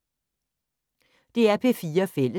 DR P4 Fælles